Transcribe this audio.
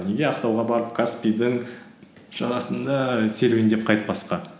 неге ақтауға барып каспийдің жағасында серуендеп қайтпасқа